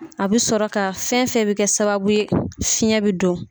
A bɛ sɔrɔ ka fɛn fɛn bɛ kɛ sababu ye fiɲɛ bɛ don.